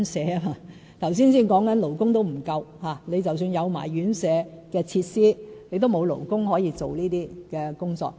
剛剛才提及連勞工也不足，即使有院舍設施，也沒有勞工可以從事這些工作。